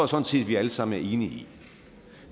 sådan set vi alle sammen enige i